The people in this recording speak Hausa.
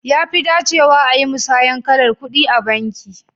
Ya fi dacewa ayi musayan kalar ƙudi a banki.